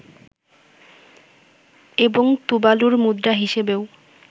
এবং তুবালুর মুদ্রা হিসেবেও